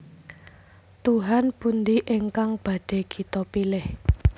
Tuhan pundi ingkang badhé kita pilih